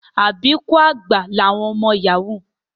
Àbíkú àgbà làwọn ọmọ Yahoo